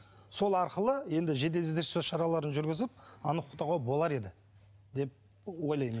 сол арқылы енді жедел іздестіру шараларын жүргізіп анықтауға болар еді